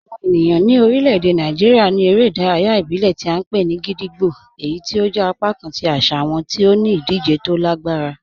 Awọn ènìyàn ni orílẹ̀-èdè Nàìjíríà ní èrè idàráyà ìbílẹ̀ tí a npe ni gídígbò, èyí tí ó jẹ̀ apakàn tí àṣà wọn ti ó ní idije tó lè gbarà.